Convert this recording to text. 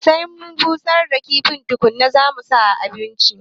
Sai mun busar da kifin tukuna zamu sa a abinci